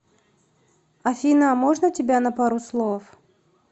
афина можно тебя на пару слов